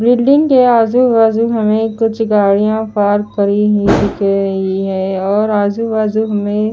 building के आजू बाजू हमें कुछ गाड़ियां पार्क करी ही दिख रही है और आजू बाजू हमें --